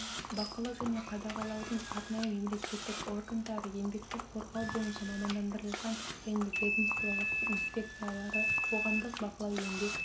бақылау және қадағалаудың арнайы мемлекеттік органдары еңбекті қорғау бойынша мамандандырылған және ведомстволық инспекциялары қоғамдық бақылау еңбек